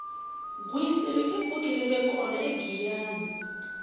gwitsi ringe pfuki rive kona egiyani